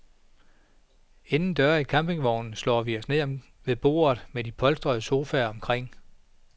Indendøre i campingvognen slår vi os ned ved bordet med de polstrede sofaer omkring.